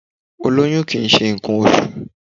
Ólóyún kìí ṣe ǹkan oṣù